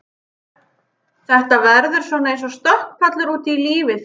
Þetta verður svona eins og stökkpallur út í lífið fyrir þau.